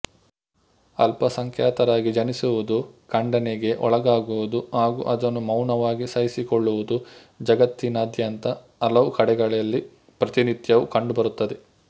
ಅಲ್ಪಸಂಖ್ಯಾತರಾಗಿ ಜನಿಸುವುದು ಖಂಡನೆಗೆ ಒಳಗಾಗುವುದು ಹಾಗು ಅದನ್ನು ಮೌನವಾಗಿ ಸಹಿಸಿಕೊಳ್ಳುವುದು ಜಗತ್ತಿನಾದ್ಯಂತ ಹಲವು ಕಡೆಗಳಲ್ಲಿ ಪ್ರತಿನಿತ್ಯವೂ ಕಂಡುಬರುತ್ತದೆ